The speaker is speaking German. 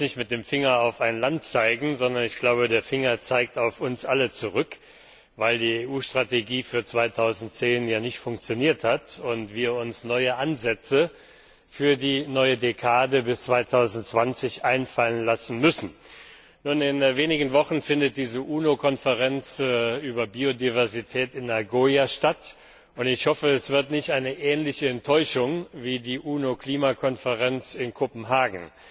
Ich will jetzt nicht mit dem Finger auf ein Land zeigen, sondern ich glaube, der Finger zeigt auf uns alle zurück, weil die EU Strategie für 2010 ja nicht funktioniert hat und wir uns neue Ansätze für die neue Dekade bis 2020 einfallen lassen müssen. In wenigen Wochen findet die UNO Konferenz über Biodiversität in Nagoya statt, und ich hoffe, es wird nicht eine ähnliche Enttäuschung wie die UNO Klimakonferenz in Kopenhagen.